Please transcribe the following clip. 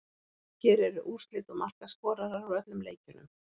Hér eru úrslit og markaskorarar úr öllum leikjunum: